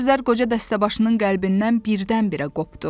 Bu sözlər qoca dəstəbaşının qəlbindən birdən-birə qopdu.